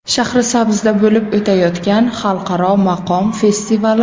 Shahrisabzda bo‘lib o‘tayotgan xalqaro maqom festivali.